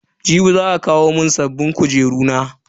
Jibi za a kawo mun sabbin kujeru na.